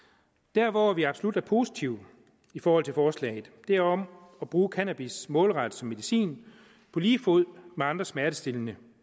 der hvor vi absolut er positive i forhold til forslaget er om at bruge cannabis målrettet som medicin på lige fod med andre smertestillende